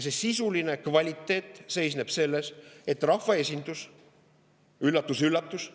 See sisuline kvaliteet seisneb selles, et rahvaesindus – üllatus-üllatus!